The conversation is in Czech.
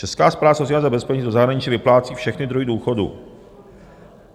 Česká správa sociálního zabezpečení do zahraniční vyplácí všechny druhy důchodů.